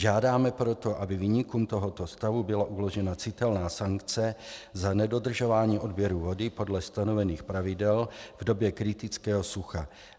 Žádáme proto, aby viníkům tohoto stavu byla uložena citelná sankce za nedodržování odběru vody podle stanovených pravidel v době kritického sucha.